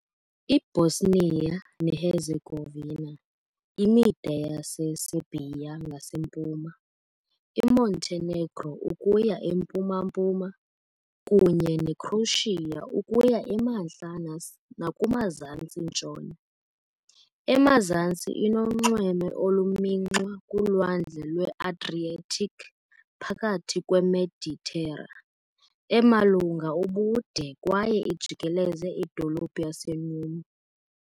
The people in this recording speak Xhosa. IBosnia neHerzegovina imida yaseSerbia ngasempuma, iMontenegro ukuya empuma-mpuma, kunye neCroatia ukuya emantla nakumazantsi-ntshona. Emazantsi inonxweme olumxinwa kuLwandle lweAdriatic phakathi kweMeditera, emalunga ubude kwaye ijikeleze idolophu yaseNeum .